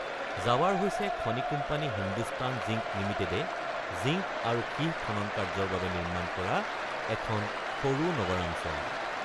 জাৱাৰ হৈছে খনি company Hindustan zinc লিমিটেডে জিংক আৰু সীহ খনন কাৰ্য্যৰ বাবে নিৰ্মাণ কৰা এখন সৰু নগৰাঞ্চল।